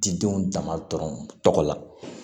Didenw jama dɔrɔn la